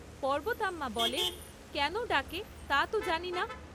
পর্বতাম্মা বলে, কেন ডাকে তা তো জানি না।